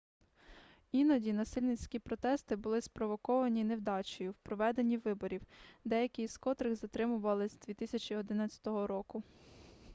іноді насильницькі протести були спровоковані невдачею в проведенні виборів деякі з котрих затримували з 2011 року